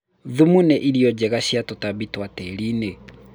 thumu nĩ irio njega cia tũtambi twa tĩri-inĩ